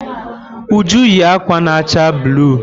Uju yi ákwà na acha bluụ.